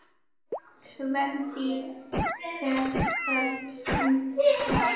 Kvendýr sels nefnist urta.